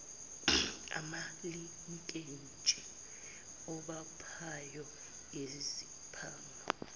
amalinkeji abophayo iziphanga